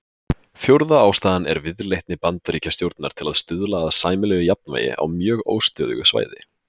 Fjórða ástæðan er viðleitni Bandaríkjastjórnar til að stuðla að sæmilegu jafnvægi á mjög óstöðugu svæði.